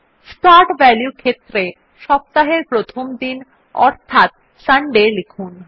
start value ক্ষেত্রে সপ্তাহের প্রথম দিন অর্থাৎ সান্ডে লিখুন